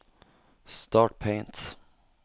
start Paint